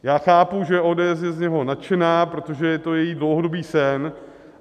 Já chápu, že ODS je z něj nadšená, protože je to její dlouhodobý sen.